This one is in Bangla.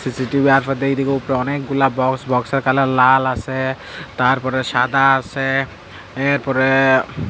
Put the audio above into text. আর উফর দিয়ে আর এদিকে অনেকগুলা বক্স বক্স এর কালার আসে তারপরে সাদা আসে এরপরে --